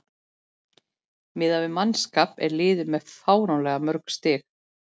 Miðað við mannskap er liðið með fáránlega mörg stig.